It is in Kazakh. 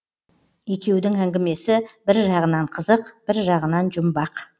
екеудің әңгімесі бір жағынан қызық бір жағынан жұмбақ